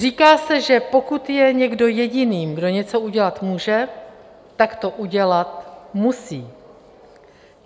Říká se, že pokud je někdo jediný, kdo něco udělat může, tak to udělat musí.